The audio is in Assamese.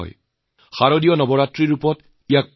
ইয়াকে আমি শাৰদীয়নবৰাত্ৰি হিচাৰে জানো